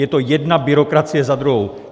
Je to jedna byrokracie za druhou.